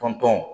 Tɔn tɔn